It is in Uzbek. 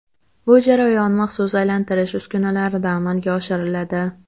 Bu jarayon maxsus aylantirish uskunalarida amalga oshiriladi.